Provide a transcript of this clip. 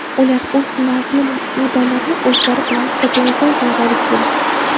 Ular o‘z Nobel medallarini o‘zlari bilan Kopengagenga olib kelgan.